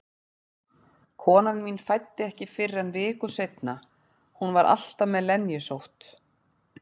Konan mín fæddi ekki fyrr en viku seinna, hún var alltaf með lenjusótt.